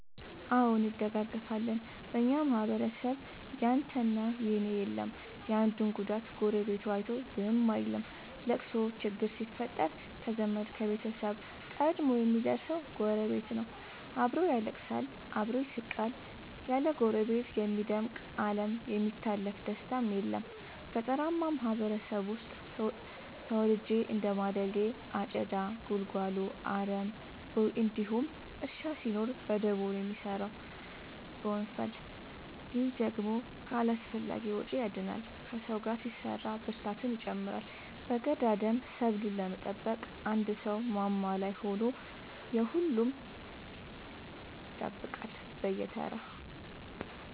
አዎ እንደጋገፋለን በኛ ማህበረሰብ ያንተ እና የኔ የለም የአንዱን ጉዳት ጎረቤቱ አይቶ ዝም አይልም። ለቅሶ ችግር ሲፈጠር ከዘመድ ከቤተሰብ ቀድሞ የሚደር ሰው ጎረቤት ነው። አብሮ ያለቅሳል አብሮ ይስቃል ያለ ጎረቤት የሚደምቅ አለም የሚታለፍ ደስታም የለም። ገጠርአማ ማህበረሰብ ውስጥ ተወልጄ እንደማደጌ አጨዳ ጉልጎሎ አረም ቦይ እንዲሁም እርሻ ሲኖር በደቦ ነው የሚሰራው በወንፈል። ይህ ደግሞ ከአላስፈላጊዎቺ ያድናል ከሰው ጋር ሲሰራ ብርታትን ይጨምራል። በገዳደሞ ሰብሉን ለመጠበቅ አንድ ሰው ማማ ላይ ሆኖ የሁሉም ይጠብቃል በየተራ።